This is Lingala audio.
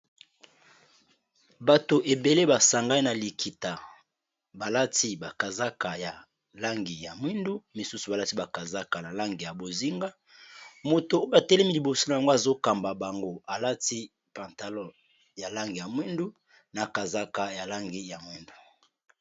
Bato ebele basangani na likita balati bakazaka ya langi ya mwindu misusu balati bakazaka ya langi ya bozinga moto oyo batelemi liboso na yango azokamba bango alati pantalon ya langi ya mwindu na kazaka ya langi ya mwindu.